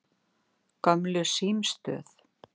Gömlu símstöð